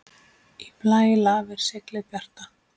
Í blæ lafir seglið bjarta.